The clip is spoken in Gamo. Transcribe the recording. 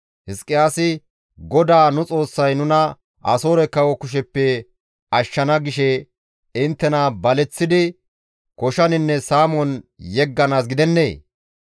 Hizqiyaasi, ‹GODAA nu Xoossay nuna Asoore kawo kusheppe ashshana› gishe inttena baleththidi koshaninne saamon yegganaas gidennee?